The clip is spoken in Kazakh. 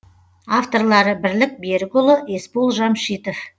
авторлары бірлік берікұлы есбол жамшитов